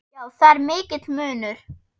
Já, það er mikill munur.